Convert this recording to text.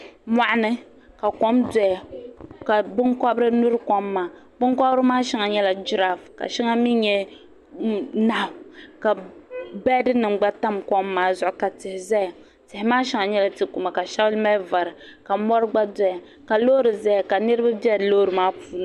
Moɣuni ka kom doya ka binkobiri nyuri kom maa binkobiri maa shɛŋa nyela giraaf ka shɛŋa nye nahu ka gbeedinim gba tam kom maa zuɣu ka tihi zaya tihi maa shɛŋa gba nyela tikuma ka shɛŋa mali vari ka mori gba doya ka loori zaya ka niribi be loori maa puuni.